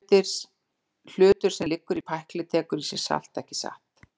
Hlutur sem liggur í pækli tekur í sig salt, ekki satt?